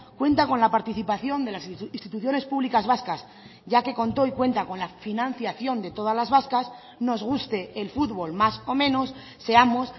cuenta con la participación de las instituciones públicas vascas ya que contó y cuenta con la financiación de todas las vascas nos guste el futbol más o menos seamos